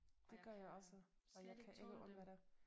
Det gør jeg også og jeg kan ikke undvære det